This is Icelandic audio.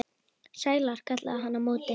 Sælar, kallaði hann á móti.